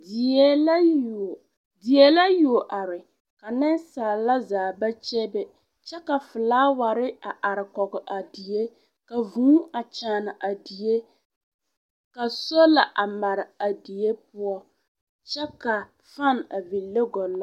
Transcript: Die la yuo die la yuo are ka nensaala zaa ba kyebe kyɛ ka felaawɛre a are kɔɡe a die ka vūū a kyaane a die ka sola a mare a die poɔ kyɛ ka fane a vile ɡɔllɔ.